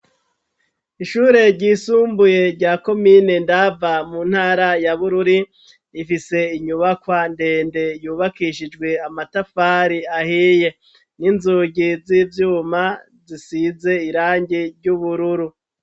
Ishure ry' isumbuye rya komine ndava mu ntara ya bururi ifise inyubakwa ndende yubakishijwe amatafari ahiye n'inzugi z'ivyuma zisize irangi ry'ubururu.